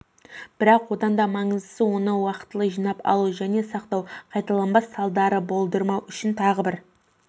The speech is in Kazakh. бірақ оданда маңыздысы оны уақытылы жинап алу және сақтау қайталанбас салдарды болдырмау үшін тағы бір